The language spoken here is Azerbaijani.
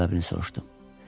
Səbəbini soruşdum.